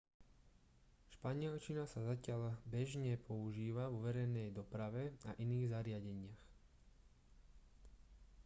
španielčina sa zatiaľ bežne používa vo verejnej doprave a iných zariadeniach